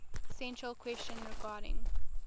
central question regarding